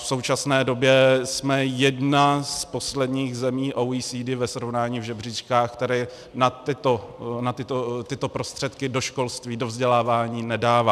V současné době jsme jedna z posledních zemí OECD ve srovnání v žebříčkách, která na tyto prostředky do školství, do vzdělávání nedává.